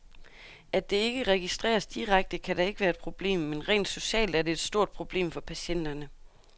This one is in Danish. At det ikke registreres direkte, kan da ikke være et problem, men rent socialt er det et stort problem for patienterne.